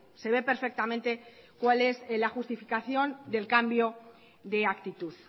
se ve perfectamente cuál es la justificación del cambio de actitud